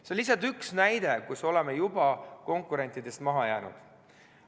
See on lihtsalt üks näide, kus me oleme juba konkurentidest maha jäänud.